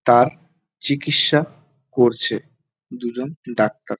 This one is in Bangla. তার চিকিৎসা করছে দুজন ডাক্তার।